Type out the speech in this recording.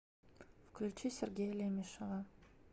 включи сергея лемешева